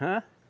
Hã?